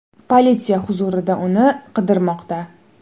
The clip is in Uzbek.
Politsiya hozirda uni qidirmoqda.